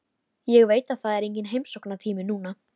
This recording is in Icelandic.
Tónlistin og boðskapur hennar varð augljósari en nokkru sinni fyrr.